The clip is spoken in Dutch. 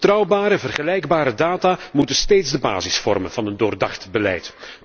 Betrouwbare en vergelijkbare data moeten steeds de basis vormen van een doordacht beleid.